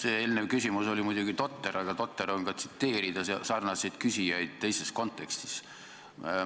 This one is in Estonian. See eelnev küsimus oli muidugi totter, aga totter on ka tsiteerida sarnaseid küsijaid teises kontekstis.